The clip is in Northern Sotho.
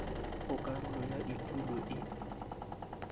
go karolo ya etulo e